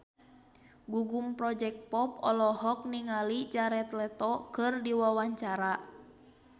Gugum Project Pop olohok ningali Jared Leto keur diwawancara